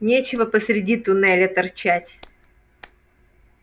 нечего посреди туннеля торчать